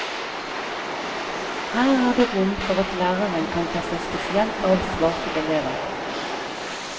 Her er det rom for at læreren kan ta seg spesielt av svake elever.